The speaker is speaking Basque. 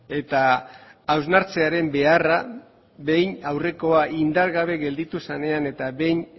eta hausnartzearen beharra behin aurrekoa indar gabe gelditu zenean eta behin